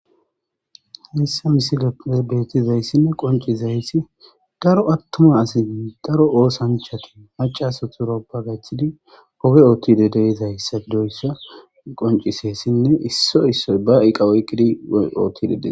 Missa misiga debeti zayssinne qonci zayssi daro attuma asin daro oosanchatin macasat ewroppa gachthidi hoge oottidedey zayssaidoyssa qoncisessinne issoy issoy ba iqa woykidi oottidedee.